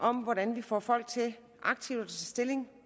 om hvordan vi får folk til aktivt at tage stilling